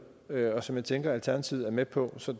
og som jeg tænker at alternativet er med på så